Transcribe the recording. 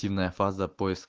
тёмная фаза